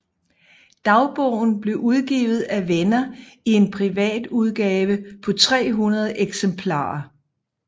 Dagbogen blev udgivet af venner i en privatudgave på 300 eksemplarer